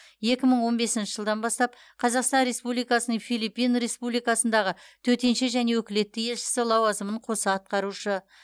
екі мың он бесінші жылдан бастап қазақстан республикасының филиппин республикасындағы төтенше және өкілетті елшісі лауазымын қоса атқарушы